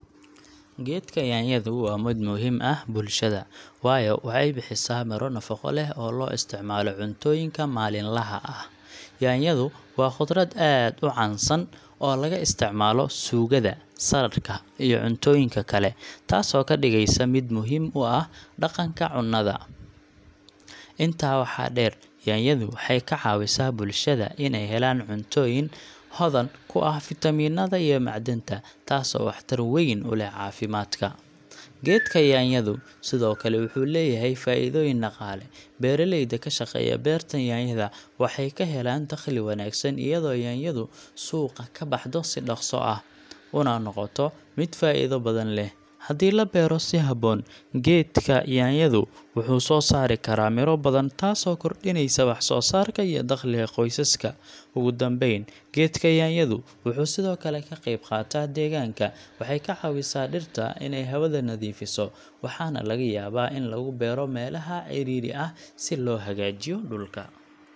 Geedka yaanyadu waa mid muhiim ah bulshada, waayo waxay bixisaa miro nafaqo leh oo loo isticmaalo cuntooyinka maalinlaha ah. Yaanyadu waa khudrad aad u caansan oo laga isticmaalo suugada, saladhka, iyo cuntooyinka kale, taasoo ka dhigaysa mid muhiim u ah dhaqanka cunnada. Intaa waxaa dheer, yaanyadu waxay ka caawisaa bulshada inay helaan cuntooyin hodan ku ah fiitamiinnada iyo macdanta, taasoo waxtar weyn u leh caafimaadka. Geedka yaanyadu sidoo kale wuxuu leeyahay faa'iidooyin dhaqaale. Beeraleyda ka shaqeeya beerta yaanyada waxay ka helaan dakhli wanaagsan, iyadoo yaanyadu suuqa ka baxdo si dhakhso ah, una noqoto mid faa'iido badan leh. Haddii la beero si habboon, geedka yaanyadu wuxuu soo saari karaa miro badan, taasoo kordhinaysa wax-soo-saarka iyo dakhliga qoysaska. Ugu dambayn, geedka yaanyadu wuxuu sidoo kale ka qayb qaataa deegaanka. Waxay ka caawisaa dhirta inay hawada nadiifiso, waxaana laga yaabaa in lagu beero meelaha cidhiidhi ah si loo hagaajiyo dhulka.